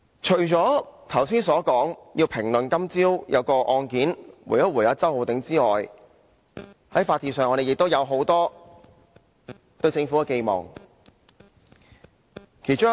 除了要回應周浩鼎議員而評論今早的案件外，我也想說說在法治上，我們對政府有很多寄望。